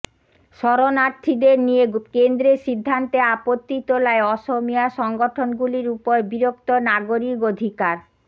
শরণার্থীদের নিয়ে কেন্দ্রের সিদ্ধান্তে আপত্তি তোলায় অসমিয়া সংগঠনগুলির উপর বিরক্ত নাগরিক অধিকার